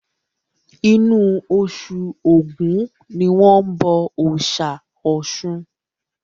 Inú osù ògún ni wọ́n bọ òòsà Ọ̀sun